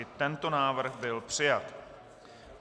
I tento návrh byl přijat.